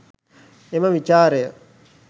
එම විචාරය